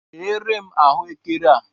Ghee re m ahụekere a!